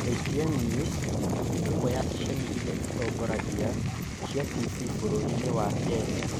KTN News nĩ ĩmwe ya ceceni iria itongoragia cia TV bũrũriinĩ wa Kenya.